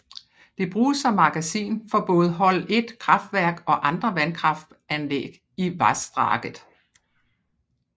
Det bruges som magasin for både Hol I kraftverk og andre vandkraftanlæg i vassdraget